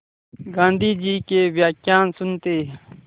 गाँधी जी के व्याख्यान सुनते